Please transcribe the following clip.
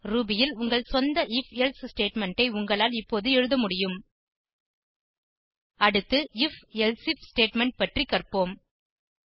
Ruby ல் உங்கள் சொந்த if எல்சே ஸ்டேட்மெண்ட் ஐ உங்களால் இப்போது எழுத முடியும் அடுத்து if எல்சிஃப் ஸ்டேட்மெண்ட் பற்றி கற்போம்